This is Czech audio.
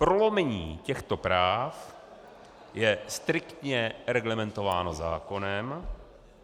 Prolomení těchto práv je striktně reglementováno zákonem.